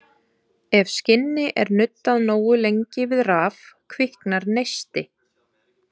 Ef skinni er nuddað nógu lengi við raf kviknar neisti.